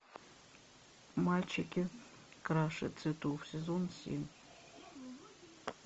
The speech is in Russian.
мальчики краше цветов сезон семь